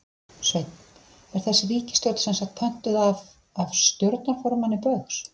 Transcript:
Sveinn: Er þessi ríkisstjórn semsagt pöntuð af, af stjórnarformanni Baugs?